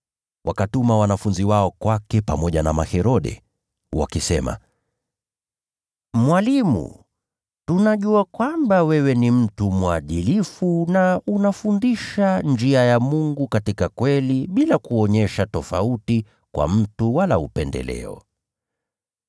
Wakatuma wanafunzi wao kwake pamoja na Maherode. Nao wakasema, “Mwalimu, tunajua kwamba wewe ni mtu mwadilifu na unafundisha njia ya Mungu katika kweli bila kuyumbishwa na mtu wala kuonyesha upendeleo.